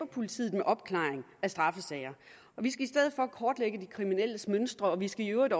politiet med opklaring af straffesager vi skal i stedet for kortlægge de kriminelles mønstre og vi skal i øvrigt